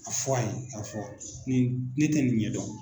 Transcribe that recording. A fɔ a ye ka fɔ nin ne tɛ nin ɲɛdɔn.